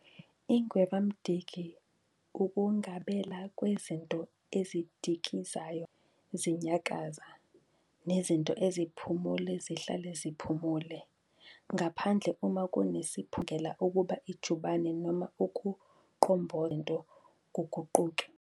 Ingwevamdiki ukungabela kwezinto ezidikizayo ukuba zihlale zinyakaza, nezinto eziphumule zihlale ziphumule, ngaphandle uma kunesiphoqi esibangela ukuba ijubane noma ukuqombotha kwazo lezo zinto kuguquke.